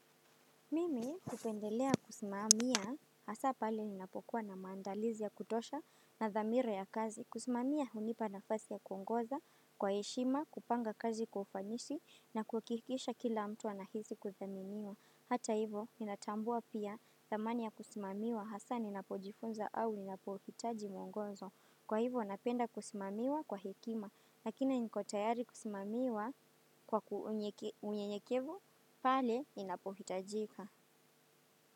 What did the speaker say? Mimi kupendelea kusimamia hasa pali ninapokuwa na maandalizi ya kutosha na damira ya kazi. Kusimamia unipa na fasi ya kuongoza, kwa hishima, kupanga kazi kwa ufanyishi na kukihikisha kila mtu anahizi kuthaminiwa. Hata hivo, ninatambua pia thamani ya kusimamiwa hasa ninapojifunza au ninapohitaji mwongozo. Kwa hivyo, napenda kusimamiwa kwa hekima, lakina niko tayari kusimamiwa kwa unyenyekevu, pale inapohitajika.